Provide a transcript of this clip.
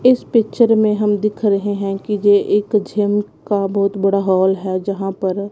इस पिक्चर में हम दिख रहे हैं कि ये एक जिम का बहोत बड़ा हाल है जहां पर--